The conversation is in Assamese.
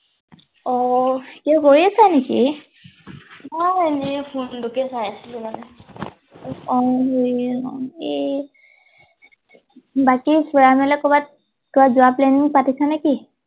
অ কিবা কৰি আছিল নেকি মই এনেই ফোন টোকে চাই আছিলো মানে এই বাকি ফুৰা মেলা কৰবাত কৰবাত যোৱা প্লেন পাতিছা নেকি